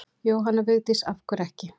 Jóhanna Vigdís: Af hverju ekki?